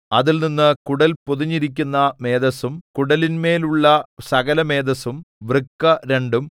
അതിൽനിന്ന് കുടൽ പൊതിഞ്ഞിരിക്കുന്ന മേദസ്സും കുടലിന്മേലുള്ള സകലമേദസ്സും വൃക്ക രണ്ടും